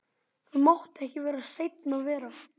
Það mátti ekki seinna vera!